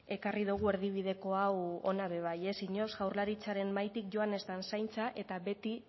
ekarri dugu erdibideko hau hona ere bai jaurlaritzaren mahaitik joan ez den zaintza eta beti